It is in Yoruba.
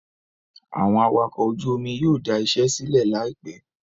Àwọn awakọ̀ ojú omi yóò dà iṣẹ́ sílẹ̀ láìpẹ́